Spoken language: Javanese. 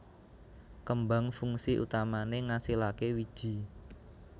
Kembang fungsi utamané ngasilaké wiji